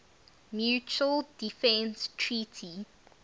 mutual defense treaty